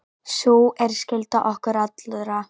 Sú er skylda okkar allra.